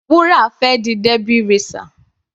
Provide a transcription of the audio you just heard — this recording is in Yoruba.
Wura fẹ́ di Derby racer.